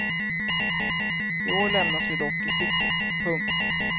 I år lämnas vi dock i sticket. punkt